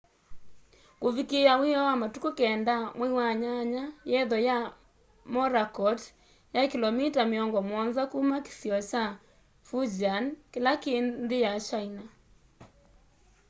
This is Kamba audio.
kuvikiia wioo wa matuku 9 mwai wa nyanya yetho ya morakot yai kilomita miongo muonza kuma kĩsionĩ kya fujian kĩla kĩ nthĩ ya china